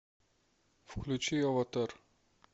включи аватар